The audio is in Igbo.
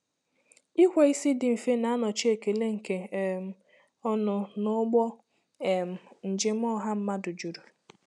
Ikwe isi dị mfe na-anọchi ekele nke um ọnụ n'ụgbọ um njem ọha mmadụ juru.